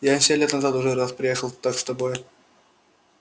я семь лет назад уже раз приехал так с тобой